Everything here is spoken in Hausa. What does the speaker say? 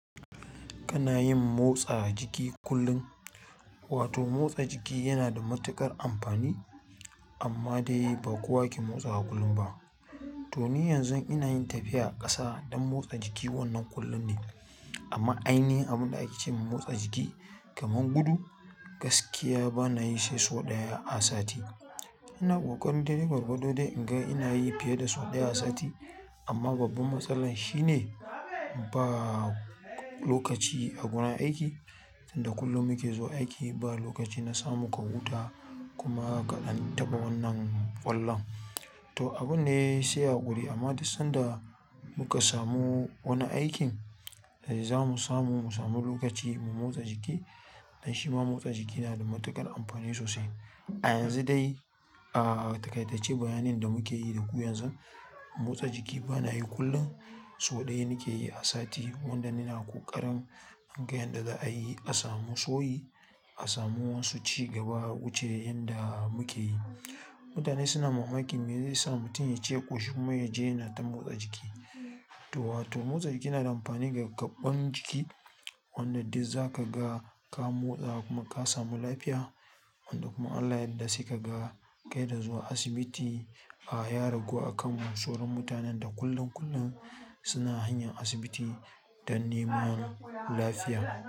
Kana yin motsa jiki kullum? Wato motsa jiki yana da matuƙar amfani, amma dai ba kowa ke motsawa kullum ba. To ni yanzu ina yin tafiya ƙasa don motsa jiki wannan kullum ne. Amma ainihin abin da ake cewa motsa jiki kamar gudu, gaskiya bana yin shi sau ɗaya a sati. Ina ƙoƙarin daidai gwargwado dai in ga ina yi fiye da sau ɗaya a sati. Amma babbar matsalan shine ba lokaci a gurin aiki. Tun da kullum muke zuwa aiki, ba lokaci na samu ka huta kuma ka ɗan taɓa wannan ƙwallon. To abun ne sai haƙuri amma duk sanda muka samu wani aikin da za mu samu, mu samu lokaci mu motsa jiki. Dan shi ma motsa jiki yana da matuƙar amfani sosai. A yanzu dai, ah takai tace bayanin da muke yi da ku yanzu, motsa jiki bana yi kullum. Sau ɗaya nake yi a sati wanda ina ƙoƙarin in ga yadda za'a yi a samu sauyi, a samu wani ci gaba wuce yanda muke yi. Mutane suna mamakin me zai sa mutum ya ciya ƙoshi kuma ya je yana ta motsa jiki. To wato motsa jiki yanada amfani ga kwan jiki wanda duk zakaga ka motsa kuma ka samu lafiya wanda kuma in Allah ya yadda sai ka ga kai da zuwa asibiti ya ragu a kan mu. Soron mutanen da kullum kullum suna hanyan asibiti don neman lafiya.